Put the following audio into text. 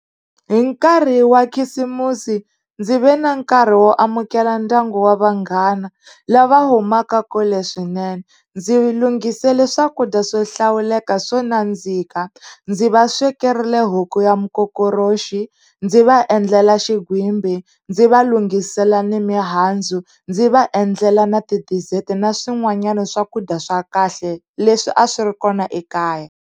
Hi nkarhi wa khisimusi ndzi ve na nkarhi wo amukela ndyangu wa vanghana lava humaka kule swinene. Ndzi lunghisela swakudya swo hlawuleka swo nandzika, ndzi va swekerile huku ya mukokoroxi, ndzi va endlela xigwimbi, ndzi va lunghisela ni mihandzu, ndzi va endlela na ti-dessert, na swin'wanyani swakudya swa kahle leswi a swi ri kona ekaya.